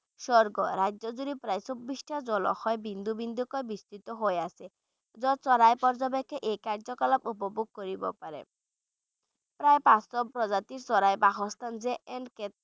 স্বৰ্গ, ৰাজ্যজুৰি প্ৰায় চৌব্বিছটা জলাশয় বিন্দু বিন্দুকৈ বিস্তৃত হৈ আছে য'ত চৰাই পৰ্য্যবেক্ষকে এই কাৰ্য-কলাপ উপভোগ কৰিব পাৰে প্ৰায় পাঁচশ প্ৰজাতিৰ চৰাইৰ বাসস্থান যে এনেকে